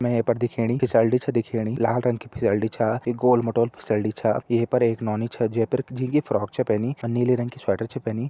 पर दिखेणी फिसलडी छ दिखेणी लाल रंग की फिसलडी छ गोल मटोल फिसलडी छ ये पर एक नौनी छ जै पर झींगी फ्रॉक छ पहनि अ नीले रंग की स्वेटर छ पहनि।